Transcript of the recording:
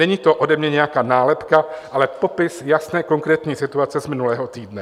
Není to ode mě nějaká nálepka, ale popis jasné konkrétní situace z minulého týdne.